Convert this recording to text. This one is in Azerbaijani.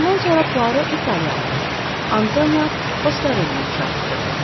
Bundan sonra Puaro İtaliyalını Antonio Foskarellini çağırtdırdı.